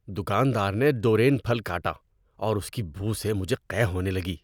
دکاندار نے ڈورین پھل کاٹا اور اس کی بو سے مجھے قے ہونے لگی۔